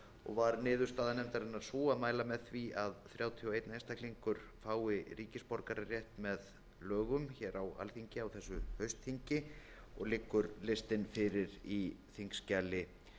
og var niðurstaða nefndarinnar sú að mæla með því að þrjátíu og einn einstaklingur fái ríkisborgararétt með lögum hér á alþingi á þessu haustþingi og liggur listinn fyrir í þingskjali